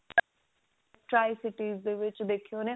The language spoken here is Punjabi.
ਦੇ ਵਿੱਚ ਦੇਖੇ ਹੋਣੇ